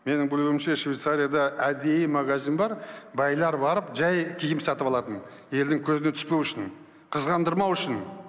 менің білуімше швецарияда әдейі магазин бар байлар барып жай киім сатып алатын елдің көзіне түспеу үшін қызғандырмау үшін